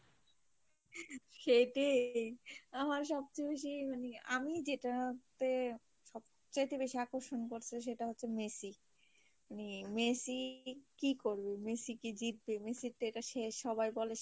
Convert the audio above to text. সেই টিই আমার সব চেয়ে বেশি মানে আমি যেটা তে সব চাইতে বেশি অক্সর্শন করছে সেটা হচ্ছে মেসি মানে মেসি কি করবে মেসি কি জিতবে মেসির টেরা শেষ ডোবায় বলে শেষ